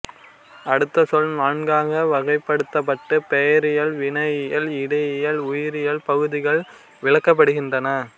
அடுத்து சொல் நான்காக வகைப்படுத்தப்பட்டு பெயரியல் வினையியல் இடையியல் உரியியல் பகுப்புகளில் விளக்கப்படுகின்றன